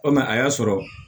O mɛ a y'a sɔrɔ